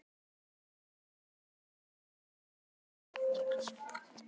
Vinjar, syngdu fyrir mig „Fallegi lúserinn minn“.